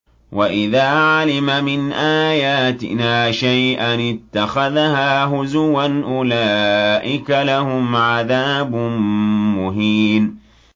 وَإِذَا عَلِمَ مِنْ آيَاتِنَا شَيْئًا اتَّخَذَهَا هُزُوًا ۚ أُولَٰئِكَ لَهُمْ عَذَابٌ مُّهِينٌ